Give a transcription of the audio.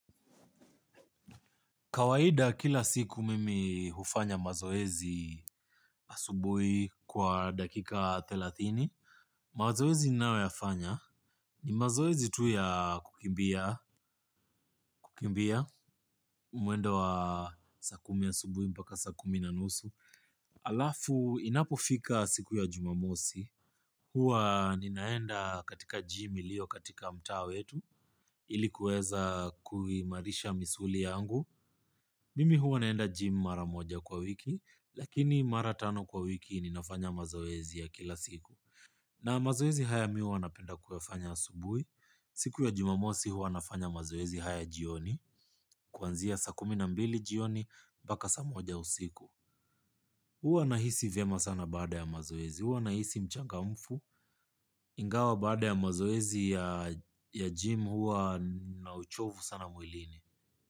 Kawaida kila siku mimi hufanya mazoezi asubuhi kwa dakika thelathini. Mazoezi ninayoyafanya. Ni mazoezi tu ya kukimbia. Mwendo wa saa kumi asubuhi mpaka saa kumi na nusu. hAlafu inapofika siku ya jumamosi. Huwa ninaenda katika gym iliyo katika mtaa we tu. Ili kuweza kuimarisha misuli yangu. Mimi huwa naenda gym maramoja kwa wiki. Lakini maratano kwa wiki ninafanya mazoezi ya kila siku. Na mazoezi haya mihu wanapenda kuyafanya asubuhi. Siku ya jumamosi huwa nafanya mazoezi haya jioni. Kuanzia saa kuminambili jioni mpaka saa moja usiku huwa nahisi vyema sana baada ya mazoezi. Huwa nahisi mchangamfu ingawa baada ya mazoezi ya gym huwa na uchovu sana mwilini.